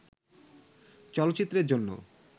চলচ্চিত্রের জন্য